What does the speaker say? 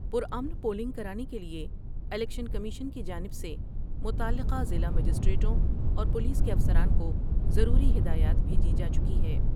پر امن پولنگ کرانے کے لئے الیکشن کمیشن کی جانب سے متعلقہ ضلع مجسٹریٹوں اور پولیس کے افسران کو ضروری ہدایات بھیجی جا چکی ہے ۔